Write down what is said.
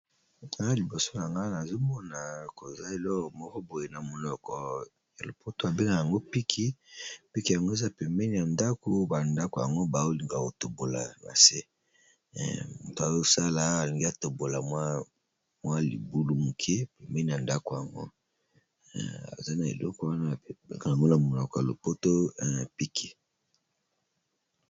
a liboso yango nazomona koza eza na elokolo mokoboye na monoko ya lopoto abenga yango piki piki yango eza pemene ya ndako bandako yango baolingako tombola mase moto azosala alingi a tombola mwa libulu moke pemene ya ndako yango eza na eleko wana gaomena monoko ya lopotoya piki